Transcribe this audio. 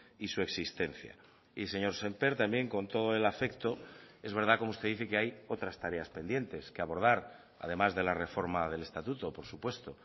y su existencia y señor sémper también con todo el afecto es verdad como usted dice que hay otras tareas pendientes que abordar además de la reforma del estatuto por supuesto